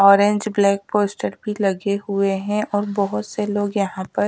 orange black poster भी लगे हुए हैं और बहोत से लोग यहां पर--